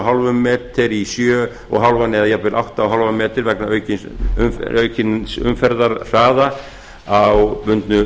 hálfum betur í sjö og hálft eða jafnvel átta og hálfum betur vegna aukins umferðarhraða á bundnu